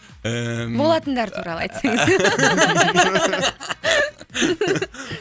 ііі болатындар туралы айтсаңыз